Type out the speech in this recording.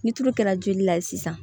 Ni tulu kɛra joli la sisan